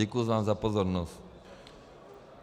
Děkuji vám za pozornost.